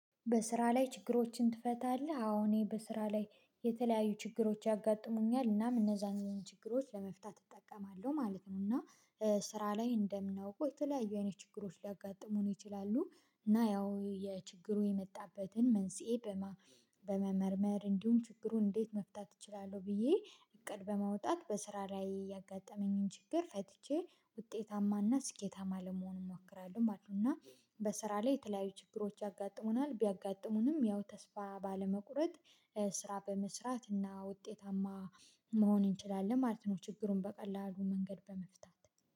በስራ ላይ ችግሮችን ትፈታለህ? አዎ እኔ በስራ ላይ የተለያዩ ችግሮች ያጋጥሙኛል እናም እነዛን ችግሮች ለመፍታት እጠቀማለሁ ማለት ነው። እና ስራ ላይ እንደምናውቀው የተለያዩ አይነት ችግሮች ሊያጋጥሙን ይችላሉ። እና ያው የችግሩ የመጣበትን መንስኤ በመመርመር እንዲሁም ችግሩን እንዴት መፍታት እችላለሁ ብዬ እቅድ በማውጣት በስራ ላይ ያጋጠመኝን ችግር ፈትቼ ውጤታማና ስኬታማ ለመሆን እሞክራለሁ። እና በስራ ላይ የተለያዩ ችግሮች ያጋጥሙናል ቢያጋጥሙንም ያው ተስፋ ባለመቁረጥ ስራ በመስራት እና ውጤታማ መሆን እንችላለን ማለት ነው። ችግሩን በቀላሉ መንገድ በመፍታት